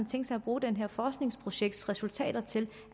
tænkt sig at bruge det her forskningsprojekts resultater til